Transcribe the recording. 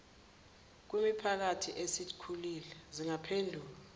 kwimiphakathi esikhulile zingaphendulwa